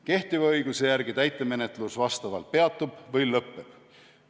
Kehtiva õiguse järgi täitemenetlus vastavalt peatub või lõppeb.